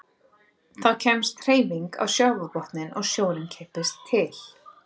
Þá kemst hreyfing á sjávarbotninn og sjórinn kippist til.